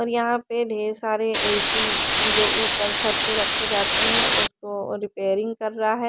और यहा पे ढेर सारे ए_सी जो उपर छत पे रखे जाते है उसको रिपेयरिंग कर रा है।